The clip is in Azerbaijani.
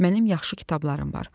Mənim yaxşı kitablarım var.